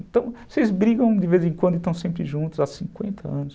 Então, vocês brigam de vez em quando e estão sempre juntos há cinquenta anos.